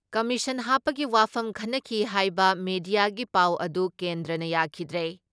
Commission ꯍꯥꯞꯄꯒꯤ ꯋꯥꯐꯝ ꯈꯟꯅꯈꯤ ꯍꯥꯏꯕ ꯃꯦꯗꯤꯌꯥꯒꯤ ꯄꯥꯎ ꯑꯗꯨ ꯀꯦꯟꯗ꯭ꯔꯅ ꯌꯥꯈꯤꯗ꯭ꯔꯦ ꯫